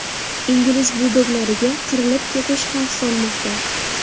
Ingliz buldoglariga qirilib ketish xavf solmoqda.